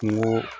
Kungo